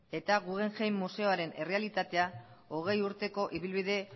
eta guggenheim museoaren errealitatea hogei urteko ibilbide